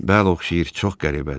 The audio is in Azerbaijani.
Bəli, oxşayır, çox qəribədir.